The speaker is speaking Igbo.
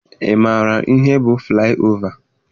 Ị maara ihe bụ flaị ova?